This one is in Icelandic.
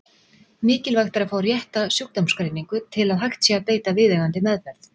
Mikilvægt er að fá rétta sjúkdómsgreiningu til að hægt sé að beita viðeigandi meðferð.